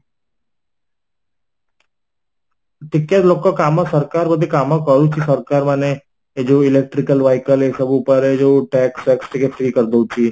ଟିକେ ଲୋକ କାମ ସରକାର ଯଦି କାମ କରୁଛି ସରକାର ମାନେ ଏ ଯୋଉ electrical vehicle ଏ ସବୁ ଉପାୟରେ ଯୋଉ tax ଫାକ୍ସ ଟିକେ free କରିଦେଉଛି